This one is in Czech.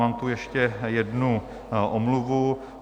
Mám tu ještě jednu omluvu.